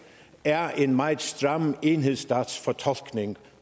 er en meget stram enhedsstatsfortolkning